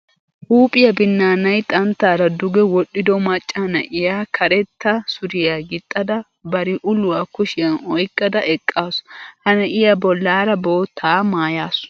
Huuphiya binnaanay xanttaara duge wodhdhido macca na'iya karetta suriya gixxada bari uluwa kushiyan oyqqada eqqaasu. Ha na'iya bollaara boottaa maayaasu.